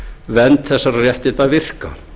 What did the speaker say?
vernd þessara réttinda virka